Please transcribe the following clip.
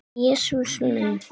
Jesús minn!